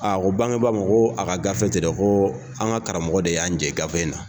A ko bangeba ma ko a ka gafe tɛ dɛ ko an ka karamɔgɔ de y'an jɛ gafe in na.